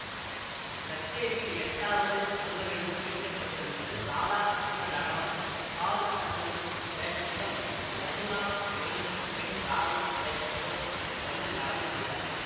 கச்சேரியில் எட்டாவது அங்கமென்று குறிப்பிட்டிருந்தது ராதாகிருஷ்ண நடனம் சாரு கிருஷ்ணன் வேஷத்திலும் யமுனா என்னும் பெண் ராதை வேஷத்திலும் வந்து நடனம் செய்தார்கள்